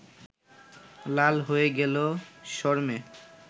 লাল হয়ে গেল শরমে